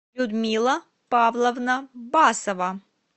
людмила павловна басова